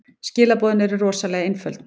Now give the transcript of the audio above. Skilaboðin eru rosalega einföld.